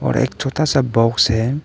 और एक छोटा सा बॉक्स है।